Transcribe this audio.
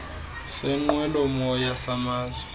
seenqwelo moya samazwe